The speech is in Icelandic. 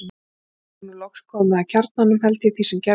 Og er nú loks komin að kjarnanum, held ég, því sem gerðist.